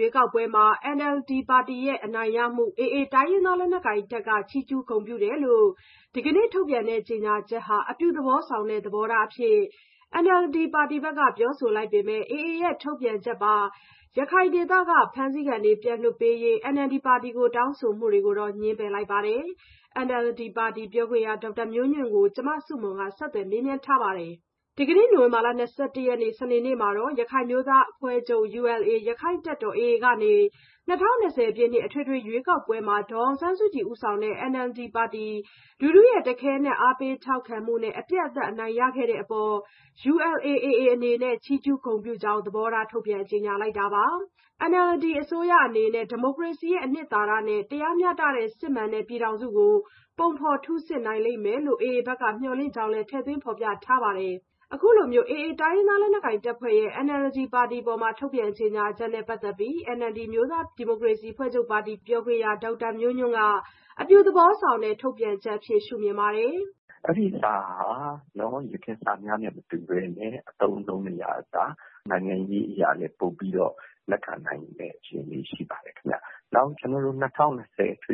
ရွေးကောက်ပွဲမှာ NLD ပါတီရဲ့ အနိုင်ရမှု AA တိုင်းရင်းသား လက်နက်ကိုင်တပ်က ချီးကျုးဂုဏ်ပြုတယ်လို့ ဒီကနေ့ ထုတ်ပြန်တဲ့ ကြေညာချက်ဟာ အပြုသဘောဆောင်တဲ့ သဘောထားအဖြစ် NLD ပါတီဘက်က ပြောဆိုလိုက်ပေမယ့် AA ရဲ့ ထုတ်ပြန်ချက်ပါ ရခိုင်ဒေသခံ ဖမ်းဆီးခံတွေ ပြန်လွှတ်ပေးရေး NLD ပါတီကို တောင်းဆိုမှုတွေကိုတော့ ငြင်းပယ်လိုက်ပါတယ်။ NLD ပါတီပြောခွင့်ရ ဒေါက်တာမျိုးညွန့်ကို မဆုမွန် ဆက်သွယ်မေးမြန်းပြီး တင်ပြထားပါတယ်။ ဒီကနေ့ နိုဝင်ဘာလ ၂၁ ရက်နေ့ စနေနေ့မှာ ရခိုင်အမျိုးသားအဖွဲ့ချုပ် (ULA)၊ ရက္ခိုင့်တပ်တော် (AA) ကနေ ၂၀၂၀ ပြည့်နှစ် အထွေထွေရွေးကောက်ပွဲမှာ ဒေါ်အောင်ဆန်းစုကြည် ဦးဆောင်တဲ့ NLD ပါတီ လူထုရဲ့ တခဲနက် အားပေးထောက်ခံမှုနဲ့ အပြတ်အသတ် အနိုင်ရခဲ့တဲ့အပေါ် ULA/AA အနေနဲ့ ချီးကျူးဂုဏ်ပြုကြောင်း သဘောထား ထုတ်ပြန်ကြေညာလိုက်တာပါ။ NLD အစိုးရအနေနဲ့ ဒီမိုကရေစီ အနှစ်သာရနဲ့ တရားမျှတတဲ့ စစ်မှန်တဲ့ ပြည်ထောင်စု ပုံဖော်ထုဆစ်နိုင်လိမ့်မယ်လို့ AA ဘက်က မျှော်လင့်ကြောင်းလည်း ထည့်သွင်းဖော်ပြထားပါတယ်။ အခုလိုမျိုး AA တိုင်းရင်းသားလက်နက်ကိုင်တပ်ဖွဲ့ရဲ့ NLD ပါတီအပေါ် ထုတ်ပြန်ကြေညာချက်နဲ့ ပတ်သက်ပြီး NLD အမျိုးသားဒီမိုကရေစီအဖွဲ့ချုပ်ပါတီ ပြောခွင့်ရ ဒေါက်တာမျိုးညွန့်ကတော့ အပြုသဘောဆောင်တဲ့ ထုတ်ပြန်ချက်အဖြစ် ရှုမြင်ပါတယ်။ "အဲ့ဒီ့စာက ယခင်စာများနဲ့မတူဘဲ အသုံးအနှုန်းတွေကအစ နိုင်ငံရေးအရလည်း ပိုပြီး လက်ခံနိုင်တဲ့ အခြေအနေ ရှိပါတယ်ခင်ဗျ။ နောက် ၂၀၂၀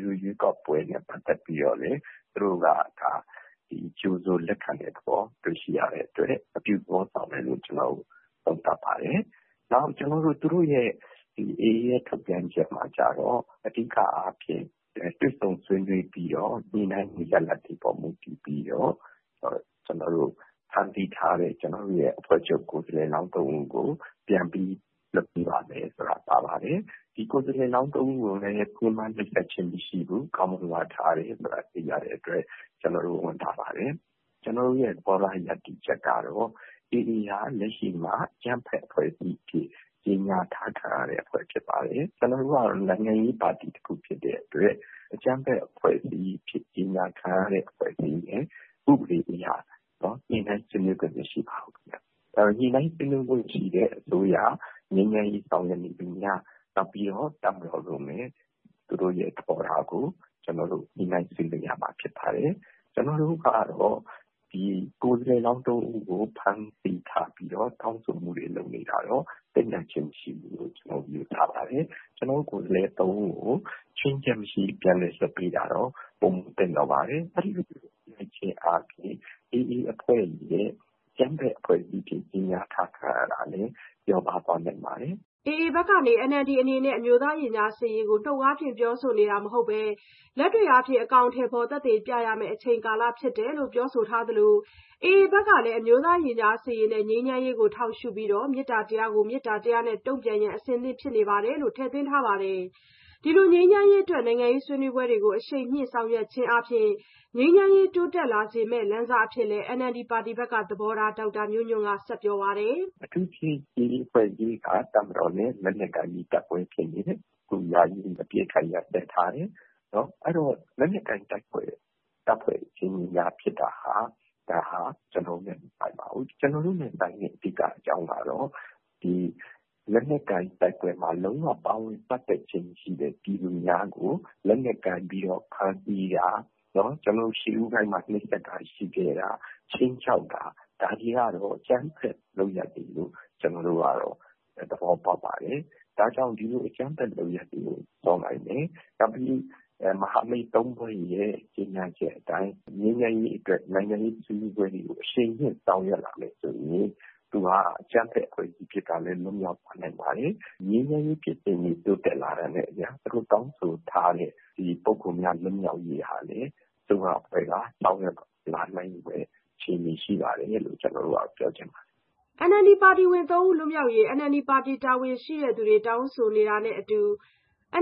ရွေးကောက်ပွဲနဲ့ ပတ်သက်ပြီးတော့လည်း သူတို့က ဒါ ကြိုဆိုလက်ခံတဲ့သဘော တွေ့ရှိရတဲ့အတွက် အပြုသဘောဆောင်တယ်လို့ ကျနော်တို့က သုံးသပ်ပါတယ်။ နောက် သူတို့ AA ရဲ့ထုတ်ပြန်ချက်မှာ တွေ့ဆုံဆွေးနွေးပြီး ညှိနှိုင်းမှုရလဒ်တွေပေါ် မူတည်ပြီး ဖမ်းဆီးထားတဲ့ ကျနော်တို့ အဖွဲ့ချုပ်ကိုယ်စားလှယ်လောင်း ၃ ဦးကို ပြန်ပြီး လွှတ်ပေးပါမယ်ဆိုတာ ပါပါတယ်။ ဒီကိုယ်စားလှယ်လောင်း ၃ ဦးကိုလည်း ညှဉ်းပန်းနှိပ်စက်ခြင်း မရှိဘူး၊ ကောင်းမွန်စွာထားတယ်ဆိုတာ သိရတဲ့အတွက် ကျနော်တို့ ဝမ်းသာပါတယ်။ “ကျနော်တို့ သဘောထား ရပ်တည်ချက်ကတော့ AA ဟာ လက်ရှိမှာ အကြမ်းဖက်အဖွဲ့အစည်းအဖြစ် ကြေညာထားခံရတဲ့အဖွဲ့ ဖြစ်ပါတယ်။ ကျနော်တို့ကတော့ နိုင်ငံရေးပါတီတခု ဖြစ်တဲ့အတွက် အကြမ်းဖက်အဖွဲ့အစည်းအဖြစ် ကြေညာထားခြင်းခံရတဲ့ အဖွဲ့အစည်းနဲ့ ဥပဒေအရ ညှိနှိုင်းဆွေးနွေးခွင့် မရှိပါဘူးခင်ဗျ။ ဒါကြောင့် ညှိနှိုင်းဆွေးနွေးခွင့်ရှိတဲ့ အစိုးရ၊ ငြိမ်းချမ်းရေးဆောင်ရွက်နေသူများ နောက်ပြီးတော့ တပ်မတော်တို့နဲ့ သူတို့ရဲ့ သဘောထားကို ညှိနှိုင်းဆွေးနွေးရမှာ ဖြစ်ပါတယ်။ ကျနော်တို့ကတော့ ဒီကိုယ်စားလှယ်လောင်း ၃ ဦးကို ဖမ်းဆီးထားပြီးတော့ တောင်းဆိုမှုတွေ လုပ်နေတာကိုတော့ သင့်မြတ်ခြင်းမရှိဘူးလို့ ကျနော်တို့ ယူဆပါတယ်။ ကျနော်တို့ ကိုယ်စားလှယ် ၃ ဦးကို ခြွင်းချက်မရှိ ပြန်လည်လွှတ်ပေးတာတော့ ပိုမိုသင့်တော်ပါတယ်။ အဲ့သလို လုပ်လိုက်ခြင်းအားဖြင့် AA အဖွဲ့ရဲ့ အကြမ်းဖက်အဖွဲ့အစည်းအဖြစ် ကြေညာထားခြင်း ခံရတာလည်း လျော့ပါးသွားနိုင်ပါတယ်။” AA ဘက်က NLD အနေနဲ့ အမျိုးသားရင်ကြားစေ့ရေးကို နှုတ်အားဖြင့် ပြောဆိုနေတာမဟုတ်ဘဲ လက်တွေ့အားဖြင့် အကောင်အထည်ဖော် သက်သေပြရမယ့် အချိန်ကာလဖြစ်တယ်လို့ ပြောဆိုထားသလို AA အနေနဲ့ အမျိုးသားရင်ကြားစေ့ရေးနဲ့ ငြိမ်းချမ်းရေးကို ထောက်ရှုပြီးတော့ မေတ္တာတရားကို မေတ္တာတရားနဲ့ တုံ့ပြန်ရန် အဆင်သင့်ဖြစ်နေပါတယ် ဆိုတာ ထည့်သွင်းထားပါတယ်။ ဒီလို ငြိမ်းချမ်းရေးအတွက် နိုင်ငံရေးဆွေးနွေးပွဲတွေကို အရှိန်မြှင့် ဆောင်ရွက်ခြင်းအားဖြင့် ငြိမ်းချမ်းရေး တိုးတက်လာနေစေမယ့် လမ်းစအဖြစ်လည်း NLD ဘက်က သဘောထားကို ဒေါက်တာမျိုးညွန့်က ပြောပါတယ်။ "အထူးသဖြင့် AA အဖွဲ့အစည်းက တပ်မတော်နဲ့ လက်နက်ကိုင်ပြီး တိုက်ပွဲဖြစ်နေတယ်။ အခု ယာယီအပစ်အခတ် ရပ်စဲထားတယ်။ အဲ့တော့ လက်နက်ကိုင်တပ်ဖွဲ့ အချင်းချင်းကြား ဖြစ်တာဟာ ဒါဟာ ကျနော်တို့နဲ့ မဆိုင်ပါဘူး။ ကျနော်တို့နဲ့ အဓိကဆိုင်တဲ့ အကြောင်းကတော့ လက်နက်ကိုင်တိုက်ပွဲမှာ လုံးဝ ပါဝင်ပတ်သက်ခြင်းမရှိတဲ့ ပြည်သူများကို လက်နက်ကိုင်ပြီးတော့ ဖမ်းဆီးတာ၊ ရှေးဦးပိုင်းတွေမှာ နှိပ်စက်တာ ရှိခဲ့တာ၊ ခြိမ်းခြောက်တာ ဒါတွေကတော့ အကြမ်းဖက်လုပ်ရပ်တွေလို့ ကျနော်တို့ကတော့ သဘောပေါက်ပါတယ်။ ဒါကြောင့် ဒီလို အကြမ်းဖက်လုပ်ရပ်တွေကို ဖြေလျော့နိုင်မယ်၊ နောက်ပြီး မဟာမိတ် ၃ ဖွဲ့ရဲ့ ကြေညာချက်အတိုင်း ငြိမ်းချမ်းရေးအတွက် နိုင်ငံရေးဆွေးနွေးပွဲတွေကို အရှိန်မြှင့် ဆောင်ရွက်လာမယ် ဆိုရင် သူဟာ အကြမ်းဖက်အဖွဲ့အစည်းကနေလည်း လွတ်မြောက်သွားနိုင်ပါတယ်။ နောက်ပြီးတော့ ငြိမ်းချမ်းရေးဖြစ်စဉ်တွေ တိုးတက်လာတာနဲ့အမျှ အခုတောင်းဆိုထားတဲ့ ပုဂ္ဂိုလ်များ လွတ်မြောက်ရေးဟာလည်း အစိုးရအဖွဲ့က ဆောင်ရွက်လာနိုင်ဖွယ် အခြေအနေ ရှိပါတယ်လို့ ကျနော်တို့ကတော့ ပြောချင်ပါတယ်။" NLD ပါတီဝင် ၃ ဦး လွတ်မြောက်ရေး NLD ပါတီ တာဝန်ရှိသူတွေက တောင်းဆိုတာနဲ့နည်းတူ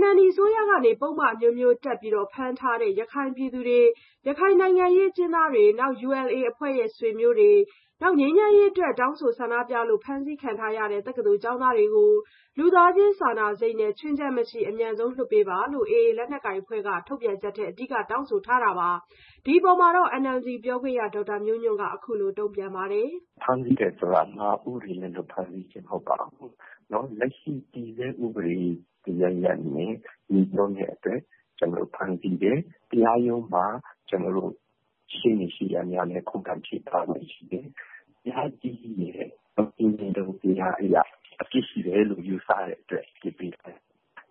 NLD အစိုးရက ပုဒ်မအမျိုးမျိုးတပ် ဖမ်းထားတဲ့ ရခိုင်ပြည်သူတွေ၊ ရခိုင်နိုင်ငံရေးအကျဉ်းသားတွေ၊ ULA အဖွဲ့ရဲ့ ဆွေမျိုးတွေ၊ ငြိမ်းချမ်းရေးအတွက် တောင်းဆိုဆန္ဒပြလို့ အဖမ်းဆီးခံ တက္ကသိုလ်ကျောင်းသားတွေကို လူသားချင်းစာနာစိတ်နဲ့ ခြွင်းချက်မရှိ အမြန်ဆုံး လွှတ်ပေးပါလို့ AA လက်နက်ကိုင်အဖွဲ့က ထုတ်ပြန်ချက်ထဲ အဓိက တောင်းဆိုထားတာပါ။ ဒီအပေါ် NLD ပါတီ ပြောခွင့်ရ ဒေါက်တာမျိုးညွန့်က အခုလိုတုံ့ပြန်ပါတယ်။ "ဖမ်းဆီးတယ်ဆိုတာဟာ ဥပဒေမဲ့ဖမ်းဆီးခြင်း မဟုတ်ပါဘူး။ လက်ရှိ တည်ဆဲဥပဒေ တရပ်ရပ်နဲ့ ငြိစွန်းတဲ့အတွက် ဖမ်းဆီးတယ်။ တရားရုံးမှာ ရှေ့နေရှေ့ရပ်များနဲ့ ခုခံချေပခွင့်ရှိတယ်။ တရားသူကြီးရဲ့ ဆင်ခြင်တုံတရားအရ အပြစ်ရှိတယ်လို့ ယူဆတဲ့အတွက် အပြစ်ပေးတာပါ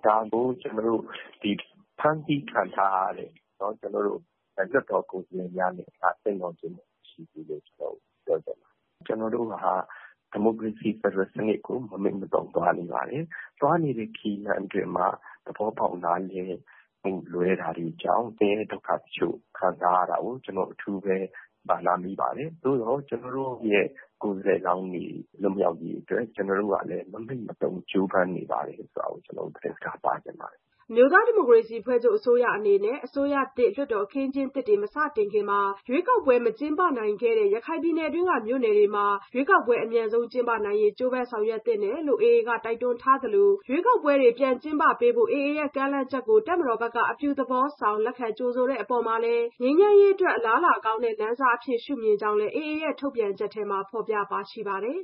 ။ ဒါဟာ ဖမ်းဆီးခံထားရတဲ့ ကျနော်တို့ရဲ့ လွှတ်တော်ကိုယ်စားလှယ်များ အပေါ်ကိုတော့ ဒါက သက်ရောက်ခြင်း မရှိဘူးလို့ဘဲ ကျနော်တို့ပြောချင်ပါတယ်။ ကျနော်တို့ဟာ ဒီမိုကရေစီ ဖက်ဒရယ်စနစ်ကို မမှိတ်မသုန် သွားနေပါတယ်။ သွားနေတဲ့ ခရီးလမ်းအတွင်းမှာ သဘောပေါက်နားလည်မှု လွဲတာတွေကြောင့် ဆင်းရဲဒုက္ခတချို့ ခံစားရတာကို ကျနော်တို့ အထူးပဲ စာနာမိပါတယ်။ ကျနော်တို့ရဲ့ ကိုယ်စားလှယ်လောင်းတွေ လွတ်မြောက်ရေးအတွက်ကို ကျနော်တို့က မမှိတ်မသုန် ကြိုးပမ်းနေပါတယ် ဆိုတာကိုလည်း ကျနော်တို့ သတင်းစကား ပါးချင်ပါတယ်။” အမျိုးသားဒီမိုကရေစီအဖွဲ့ချုပ် အစိုးရအနေနဲ့ အစိုးရသစ် လွှတ်တော်အခင်းအကျင်းသစ် မစတင်မီ ရွေးကောက်ပွဲ မကျင်းပနိုင်ခဲ့တဲ့ ရခိုင်ပြည်နယ်တွင်းက မြို့နယ်တွေမှာ ရွေးကောက်ပွဲ အမြန်ဆုံးကျင်းပနိုင်ရေး ကြိုးပမ်းဆောင်ရွက်သင့်တယ်လို့ AA က တိုက်တွန်းထားသလို ရွေးကောက်ပွဲတွေ ကျင်းပပေးဖို့ AA ရဲ့ ကမ်းလှမ်းချက်ကို တပ်မတော်ဘက်က အပြုသဘောဆောင် လက်ခံကြိုဆိုတဲ့အပေါ် ငြိမ်းချမ်းရေးအတွက် အလားအလာကောင်းတဲ့ AA ရဲ့ ထုတ်ပြန်ချက်ထဲ ဖော်ပြပါရှိပါတယ်